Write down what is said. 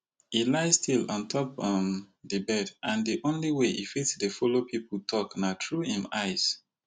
e lie still ontop um di bed and di only way e fit dey follow pipo tok na through im eyes